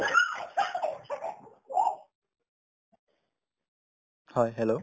হয়, hello